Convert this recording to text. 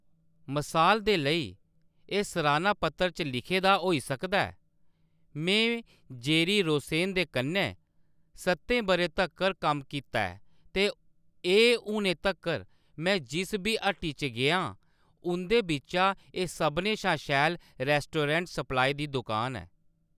मसाल दे लेई, इक सराह्‌ना पत्र च लिखे दा होई सकदा ऐ:" में जेरी रोसेन दे कन्नै सतें बʼरें तक्कर कम्म कीता ऐ ते एह्‌‌ हूनै तक्कर में जिस बी हट्टी च गेआं, उं'दे बिच्चा एह्‌‌ सभनें शा शैल रेस्टोरेंट सप्लाई दी दुकान ऐ"।